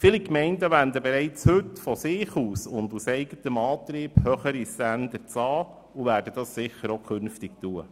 Viele Gemeinden wenden heute bereits aus eigenem Antrieb höhere Standards an und werden dies auch künftig tun.